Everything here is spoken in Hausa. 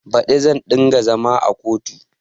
Baɗi zan ɗinga zama a kotu